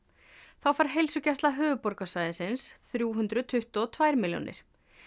þá fær heilsugæsla á höfuðborgarsvæðinu þrjú hundruð tuttugu og tvær milljónir